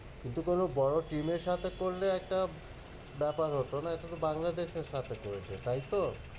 কিন্তু কোনো বড়ো team এর সাথে করলে একটা ব্যাপার হতো না, এটা তো বাংলাদেশের সাথে করেছে তাই তো?